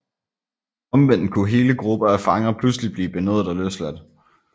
Omvendt kunne hele grupper af fanger pludselig blive benådet og løsladt